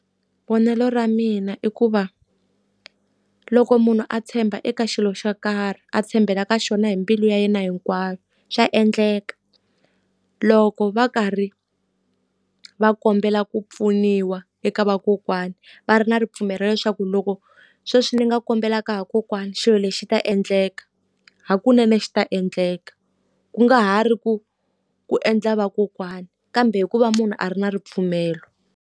Vonelo ra mina i ku va, loko munhu a tshemba eka xilo xo karhi, a tshembela ka xona hi mbilu ya yena hinkwayo, swa endleka. Loko va karhi va kombela ku pfuniwa eka vakokwani va ri na ripfumelo leswaku loko sweswi ndzi nga kombelaka vakokwani xilo lexi ta endleka, hakunene xi ta endleka. Ku nga ha ri ku ku endla vakokwani, kambe hi ku va munhu a ri na ripfumelo.